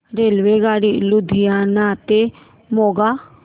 रेल्वेगाडी लुधियाना ते मोगा